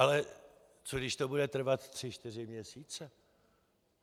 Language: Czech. Ale co když to bude trvat tři čtyři měsíce?